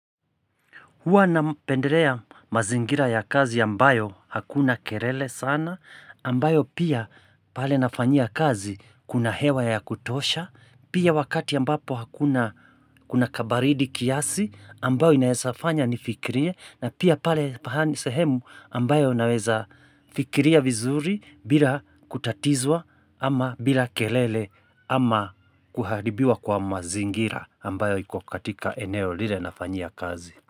Hua napendelea mazingira ya kazi ambayo hakuna kelele sana, ambayo pia pale nafanyia kazi kuna hewa ya kutosha, pia wakati ambapo hakuna kabaridi kiasi ambayo inaesafanya nifikirie na pia pale pahani sehemu ambayo naweza fikiria vizuri bila kutatizwa ama bila kelele ama kuharibiwa kwa mazingira ambayo ikukatika eneo lile nafanyia kazi.